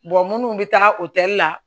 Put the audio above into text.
minnu bɛ taa o tɛli la